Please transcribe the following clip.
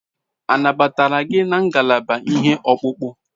A nabatara gị na ngalaba ihe ọkpụkpụ?